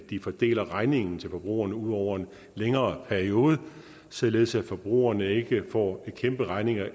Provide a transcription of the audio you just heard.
de fordeler regningen til forbrugerne ud over en længere periode således at forbrugerne ikke får en kæmpe regning